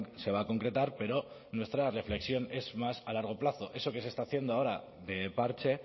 se va a concretar pero nuestra reflexión es más a largo plazo eso que se está haciendo ahora de parche